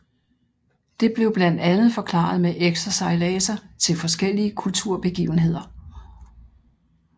Det blev blandt andet forklaret med ekstra sejladser til forskellige kulturbegivenheder